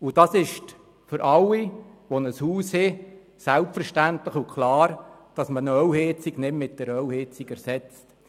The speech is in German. Zudem ist es für alle Hausbesitzer selbstverständlich und klar, dass man eine Ölheizung nicht durch eine Ölheizung ersetzt.